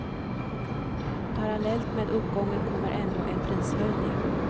Parallellt med uppgången kommer ändå en prishöjning.